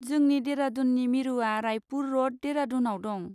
जोंनि देरादुननि मिरुआ रायपुर र'ड, देरादुनआव दं।